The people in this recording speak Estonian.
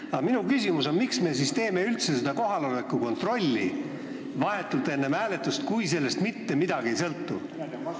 Aga minu küsimus on: miks me siis teeme üldse seda kohaloleku kontrolli vahetult enne hääletust, kui sellest mitte midagi ei sõltu?